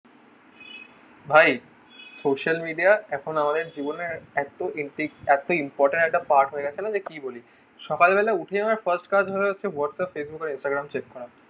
ভাই social media এখন আমাদের জীবনে এত . এত important part হয়ে গাছে না যে কি বলি সকাল বেলা উঠে আমাদের first কাজ হলো হচ্ছে whatsapp instagram check করা